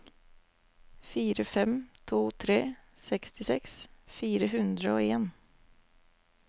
fire fem to tre sekstiseks fire hundre og en